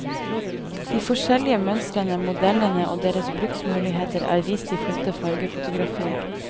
De forskjellige mønstrene, modellene og deres bruksmuligheter er vist i flotte fargefotografier.